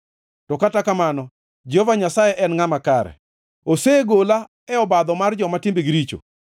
to kata kamano Jehova Nyasaye en ngʼama kare; osegola e badho mar joma timbegi richo.”